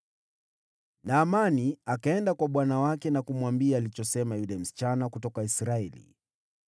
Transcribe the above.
Naamani akaenda kwa bwana wake na kumwambia alichosema yule msichana kutoka Israeli.